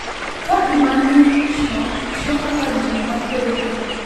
ka pi ma ng’ichno tiyo kaka gino makweyo rem.